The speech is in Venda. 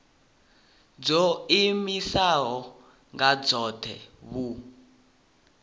dzo iimisaho nga dzohe vhu